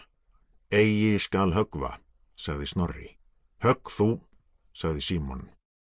eigi skal höggva sagði Snorri högg þú sagði Símon